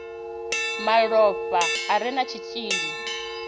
malofha a re na tshitshili